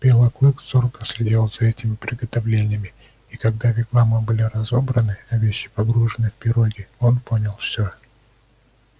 белый клык зорко следил за этими приготовлениями и когда вигвамы были разобраны а вещи погружены в пироги он понял всё